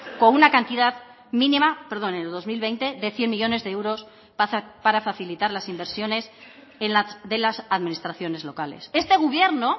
con una cantidad mínima perdón en el dos mil veinte de cien millónes de euros para facilitar las inversiones de las administraciones locales este gobierno